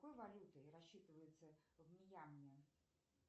какой валютой рассчитываются в мьянме